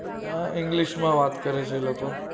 અ english મા વાત કરે છે એ લોકો